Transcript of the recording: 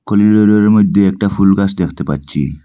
কলিলোরের মধ্যে একটা ফুল গাছ দেখতে পাচ্ছি।